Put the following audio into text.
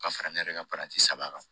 Ka fara ne yɛrɛ ka saba kan